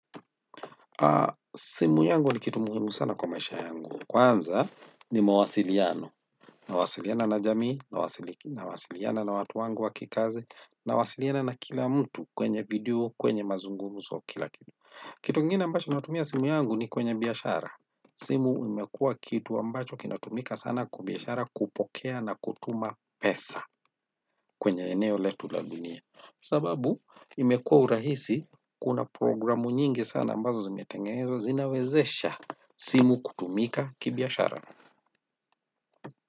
Haa, simu yangu ni kitu muhimu sana kwa maisha yangu. Kwanza ni mwasiliano. Nawasiliana na jamii, nawasiliana na watu wangu wakikazi, nawasiliana na kila mtu kwenye video, kwenye mazungumzo kila kitu. Kitu ingine ambacho natumia simu yangu ni kwenye biashara. Simu imekua kitu ambacho kinatumika sana kwa biashara kupokea na kutuma pesa. Kwenye eneo letu la dunia sababu imekua urahisi kuna programu nyingi sana ambazo zimetengezwa zinawezesha simu kutumika kibiashara.